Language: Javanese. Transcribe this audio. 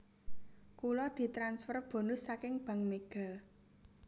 Kulo ditransfer bonus saking Bank Mega